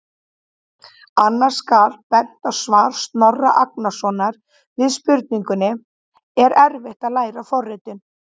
Annars skal bent á svar Snorra Agnarsson við spurningunni: Er erfitt að læra forritun?